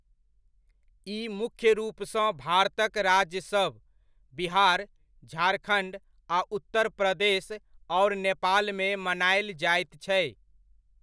ई मुख्य रूपसँ भारतक राज्यसभ बिहार, झारखण्ड आ उत्तर प्रदेश आओर नेपालमे मनायल जाइत छै।